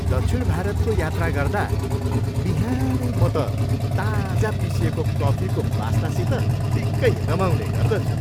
दक्षिण भारतको यात्रा गर्दा बिहानै म त ताजा पिसिएको कफीको बास्नासित निक्कै रमाउने गर्दछु।